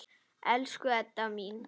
Elsku Edda mín.